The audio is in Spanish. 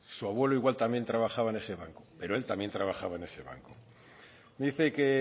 su abuelo igual también trabajaba en ese banco pero él también trabajaba en ese banco dice que